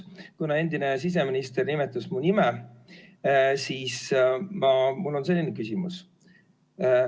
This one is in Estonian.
Kuna endine siseminister nimetas mu nime, siis mul on selline küsimus.